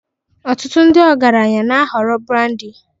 Ọtụtụ ndị ọgaranya na-ahọrọ brandi